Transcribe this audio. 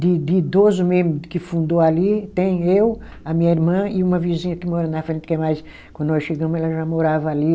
De de idoso mesmo que fundou ali, tem eu, a minha irmã e uma vizinha que mora na frente, que é mais, quando nós chegamos, ela já morava ali.